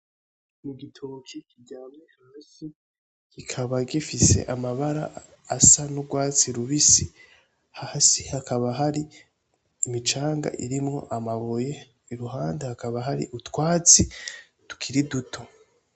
Ni igitoki kiryamye hasi kikaba gifise amabara asa n'urwatsi rubisi, hasi hakaba hari imicanga irimwo amabuye iruhande hakaba hari utwatsi tukiri duto.